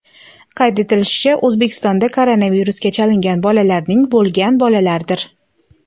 Qayd etishlaricha, O‘zbekistonda koronavirusga chalingan bolalarning bo‘lgan bolalardir.